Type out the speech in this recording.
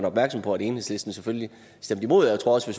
opmærksom på at enhedslisten selvfølgelig stemte imod og jeg tror også